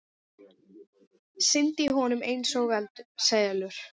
Syndi í honum einsog selur.